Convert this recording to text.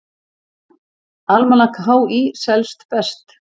Almanak HÍ selst best